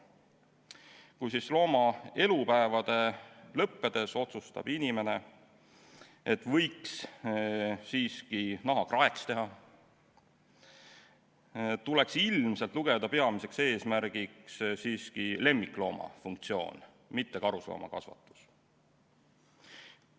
Kui looma elupäevade lõppedes otsustab inimene, et võiks siiski naha kraeks teha, tuleks ilmselt peamiseks eesmärgiks siiski pidada lemmiklooma pidamist, mitte karusloomakasvatust.